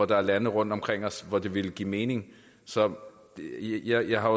der er lande rundt omkring os hvor det ville give mening så jeg har